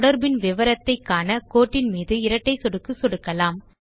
தொடர்பின் விவரத்தை காண கோட்டின் மீது இரட்டை சொடுக்கு சொடுக்கலாம்